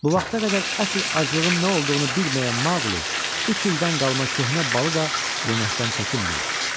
Bu vaxta qədər əsl aclığın nə olduğunu bilməyən Maquli üç ildən qalma köhnə balı da yeməkdən çəkinmirdi.